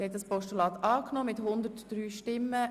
Sie haben das Postulat angenommen.